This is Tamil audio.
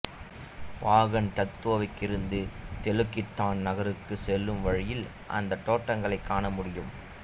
பாகன் டத்தோவில் இருந்து தெலுக் இந்தான் நகருக்குச் செல்லும் வழியில் அந்தத் தோட்டங்களைக் காண முடியும்